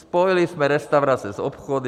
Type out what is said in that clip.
Spojili jsme restaurace s obchody.